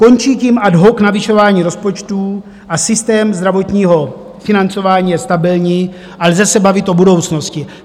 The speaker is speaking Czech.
Končí tím ad hoc navyšování rozpočtů a systém zdravotního financování je stabilní a lze se bavit o budoucnosti.